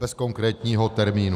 Bez konkrétního termínu.